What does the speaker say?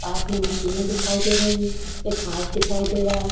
पास में मशीन दिखाई दे रही है एक कांच दिखाई दे रहा है।